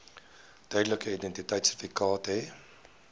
tydelike identiteitsertifikaat hê